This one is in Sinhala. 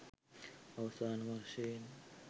අවසාන වශයෙන්